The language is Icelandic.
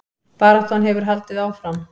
Baráttan hefur haldið áfram